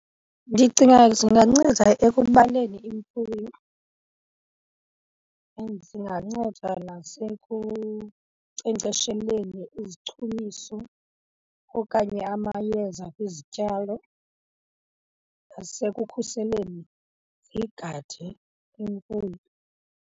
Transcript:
Ndicinga zinganceda ekubaleni imfuyo and zinganceda nasekunkcenkcesheleni izichumiso okanye amayeza kwizityalo, nasekukhuseleni zigade imfuyo.